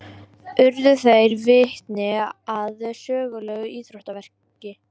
Urðu þeir vitni að sögulegu íþróttaafreki